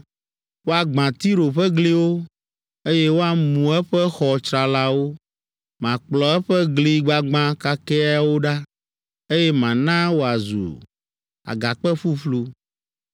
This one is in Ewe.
Woagbã Tiro ƒe gliwo, eye woamu eƒe xɔ tsralawo. Makplɔ eƒe gli gbagbã kakɛawo ɖa, eye mana wòazu agakpe ƒuƒlu